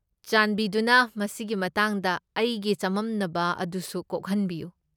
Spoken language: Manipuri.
ꯆꯥꯟꯕꯤꯗꯨꯅ ꯃꯁꯤꯒꯤ ꯃꯇꯥꯡꯗ ꯑꯩꯒꯤ ꯆꯃꯝꯅꯕ ꯑꯗꯨꯁꯨ ꯀꯣꯛꯍꯟꯕꯤꯌꯨ꯫